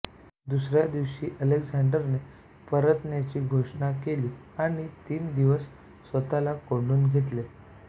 दुसऱ्या दिवशी अलेक्झांडरने परतण्याची घोषणा केली आणि तीन दिवस स्वतःला कोंडून घेतले